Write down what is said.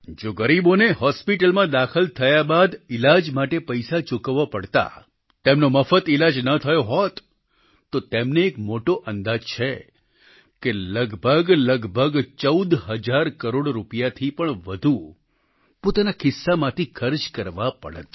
જો ગરીબોને હોસ્પિટલમાં દાખલ થયા બાદ ઈલાજ માટે પૈસા ચૂકવવા પડતા તેમનો મફત ઈલાજ ન થયો હોત તો તેમને એક મોટો અંદાજ છે કે લગભગલગભગ 14 હજાર કરોડ રૂપિયાથી પણ વધુ પોતાના ખિસ્સામાંથી ખર્ચ કરવા પડત